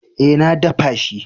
Eh, na daffa shi.